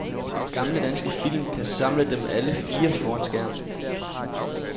Gamle danske film kan samle dem alle fire foran skærmen.